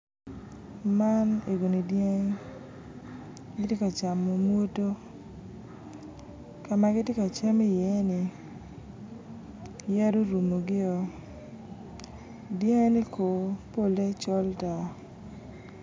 Man egoni dyangi gitye ka camo modo ka ma gitye ka cam iye ni yadi orumugio dyangine ko polle col-tar